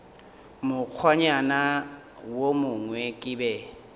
mokgwanyana wo mongwe ke be